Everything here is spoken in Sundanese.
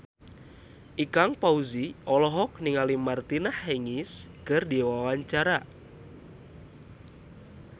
Ikang Fawzi olohok ningali Martina Hingis keur diwawancara